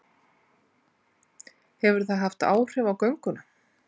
Hefur það haft áhrif á gönguna?